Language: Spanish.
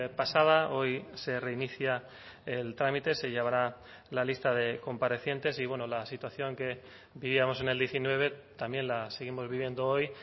pasada hoy se reinicia el trámite se llevará la lista de comparecientes y bueno la situación que vivíamos en el diecinueve también la seguimos viviendo hoy